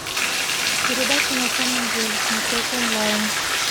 передача на самом деле смотреть онлайн